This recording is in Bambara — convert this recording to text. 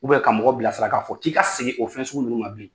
ka mɔgɔ bila sara ka k'a fɔ k'i ka segi o fɛn sugu ninnu ma bilen